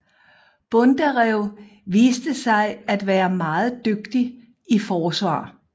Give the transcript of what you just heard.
Bondarev viste sig at være meget dygtig i forsvar